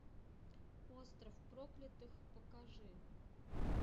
остров проклятых покажи